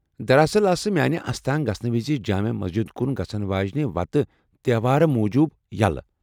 دراصل، آسہٕ میانہِ استان گژھنہٕ وِزِ جامع مسجد كُن گژھن واجِنہِ وتہٕ تیوہار موجوب یَلہٕ ۔